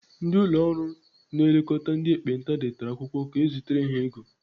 Ndị ụlọ ọrụ na-elekọta ndị ekpenta detara akwụkwọ ka ezitere ha ego.